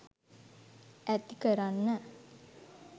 ඇති කරන්න.